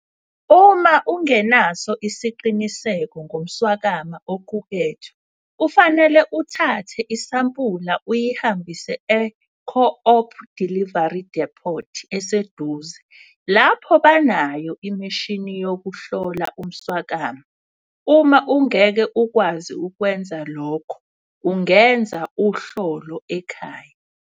Uma ungenaso isiqiniseko ngomswakama oqukethwe kufanele uthathe isampula uyihambise e-co-op delivery depot eseduze lapho banayo imishini yokuhlola umswakama. Uma ungeke ukwazi ukwenza lokho, ungenza 'uhlolo ekhaya'.